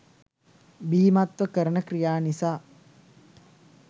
බීමත්ව කරන ක්‍රියා නිසා